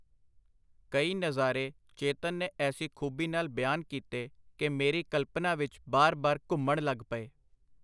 ਕਈ ਨਜ਼ਾਰੇ ਚੇਤਨ ਨੇ ਐਸੀ ਖੂਭੀ ਨਾਲ ਬਿਆਨ ਕੀਤੇ ਕਿ ਮੇਰੀ ਕਲਪਨਾ ਵਿਚ ਬਾਰ-ਬਾਰ ਘੁੰਮਣ ਲਗ ਪਏ.